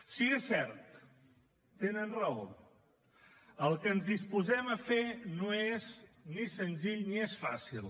sí és cert tenen raó el que ens disposem a fer no és ni senzill ni és fàcil